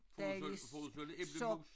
Dejlig sok